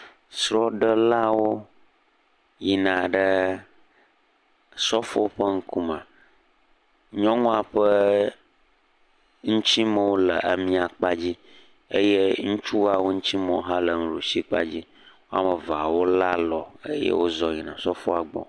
Srɔɖelawo yina ɖe osɔfo ƒe ŋkume nyɔnua ƒe ŋtimewo le miakpadzi eye ŋutsua ƒe ŋtimewo le ɖusikpadzi wo ame eveawo le alɔ eye wozɔ yi osɔfoa gbɔ